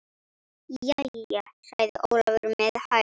Jæja, sagði Ólafur með hægð.